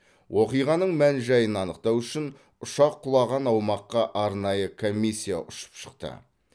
оқиғаның мән жайын анықтау үшін ұшақ құлаған аумаққа арнайы комиссия ұшып шықты